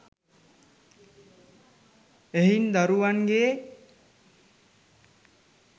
එහෙයින් දරුවන්ගේ